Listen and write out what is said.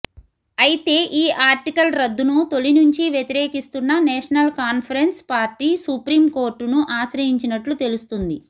అయితే ఈ ఆర్టికల్ రద్దు ను తొలినుంచి వ్యతిరేకిస్తున్న నేషనల్ కాన్ఫరెన్స్ పార్టీ సుప్రీంకోర్టును ఆశ్రయించినట్లు తెలుస్తుంది